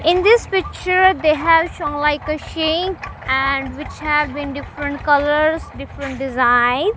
in this picture they have shown like a sink and which have been different colours different design.